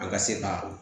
An ka se ka o